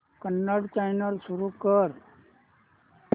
Kannada channel सुरू कर